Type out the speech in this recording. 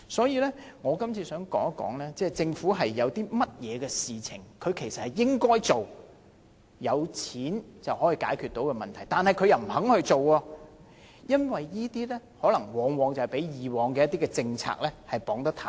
因此，我想說一說，有一些事情政府應該做，而且是錢可以解決的問題，卻不肯做，可能因為被以往一些政策綁得太緊。